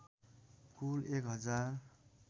कुल १ हजार